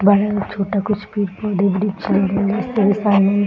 बड़ा और छोटा कुछ पेड़ पौधा वृक्ष ढेर सारे